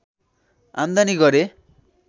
आम्दानी गरे